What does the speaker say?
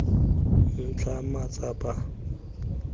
ntlha matsapa dia tsaya kae